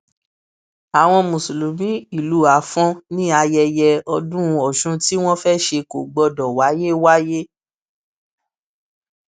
àwọn mùsùlùmí ìlú afọn ní ayẹyẹ ọdún ọsún tí wọn fẹẹ ṣe kò gbọdọ wáyé wáyé